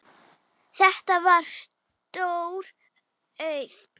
Þetta var stór auðn.